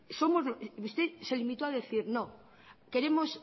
usted se limitó a decir no queremos